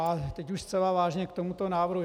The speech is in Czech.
A teď už zcela vážně k tomuto návrhu.